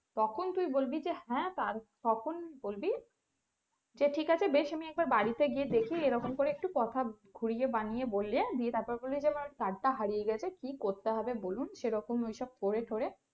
তখন তুই বলবি যে হ্যাঁ আর তখন বলবি যে ঠিক আছে বেশ আমি একবার বাড়িতে গিয়ে দেখে এরকম করে একটু কথা ঘুরিয়ে বানিয়ে বললে দিয়ে তারপরে বলবি যে আমার card হারিয়ে গেছে কি করতে হবে বলুন সেরকম ওইসব করে টরে